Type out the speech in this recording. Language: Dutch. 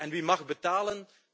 En wie mag betalen?